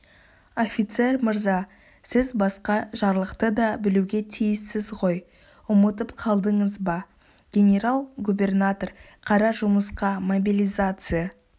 офицер мырза сіз басқа жарлықты да білуге тиіссіз ғой ұмытып қалдыңыз ба генерал-губернатор қара жұмысқа мобилизация